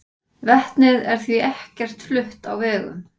Vetnið er því ekkert flutt á vegum.